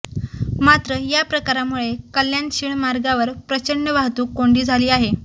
मात्र या प्रकारामुळे कल्याण शिळ मार्गावर प्रचंड वाहतूक कोंडी झाली आहे